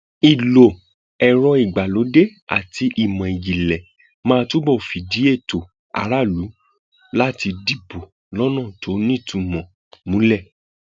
ìlò ẹrọ ìgbàlódé àti ìmọ ìjìnlẹ máa túbọ fìdí ètò aráàlú láti dìbò lọnà tó nítumọ múlẹ